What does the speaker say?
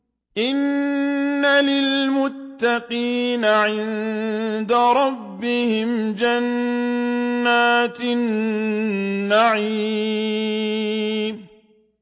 إِنَّ لِلْمُتَّقِينَ عِندَ رَبِّهِمْ جَنَّاتِ النَّعِيمِ